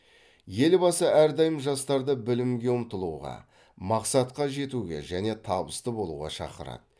елбасы әрдайым жастарды білімге ұмтылуға мақсатқа жетуге және табысты болуға шақырады